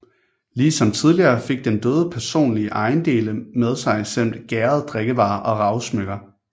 Ligesom tidligere fik den døde personlige ejendele med sig samt gærede drikkevarer og ravsmykker